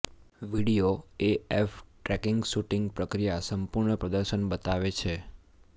video AF tracking shooting પ્રક્રિયા સંપૂર્ણ પ્રદર્શન બતાવે છે